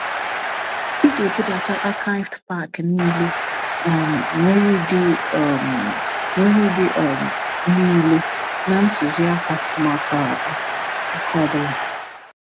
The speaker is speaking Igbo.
Ị ga-ebudata *archived pack* niile um nwere ụdị um nwere ụdị um niile na ntuziaka maka um nke ọ bụla.